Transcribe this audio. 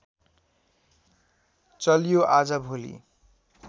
चल्यो आज भोलि